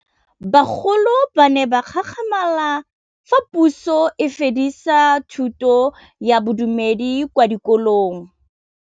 Bagolo ba ne ba gakgamala fa Pusô e fedisa thutô ya Bodumedi kwa dikolong.